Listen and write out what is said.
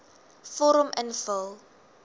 vorm invul